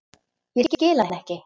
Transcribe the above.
Ég skil hann ekki.